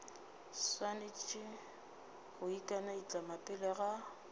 swanetše go ikanaitlama pele ga